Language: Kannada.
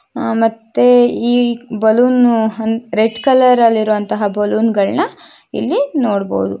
ಮತ್ತೆ ಈ ಬಲೂನ್ ರೆಡ್ ಕಲರಲ್ಲಿ ಇರುವಂತಹ ಬಲೂನ ಗಳನ್ನ ಇಲ್ಲಿ ನೋಡಬಹುದು.